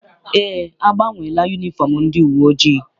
Eé, agbanweela yunifọm ndị uwe ojii.